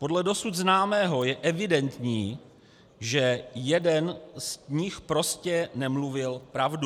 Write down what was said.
Podle dosud známého je evidentní, že jeden z nich prostě nemluvil pravdu.